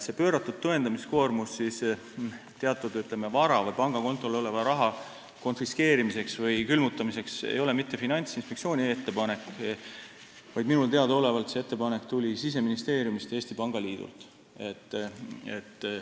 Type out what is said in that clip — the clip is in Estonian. See pööratud tõendamiskoormus teatud, ütleme, vara või pangakontol oleva raha konfiskeerimiseks või külmutamiseks ei ole mitte Finantsinspektsiooni ettepanek, vaid tuli minu teada Siseministeeriumist ja Eesti Pangaliidult.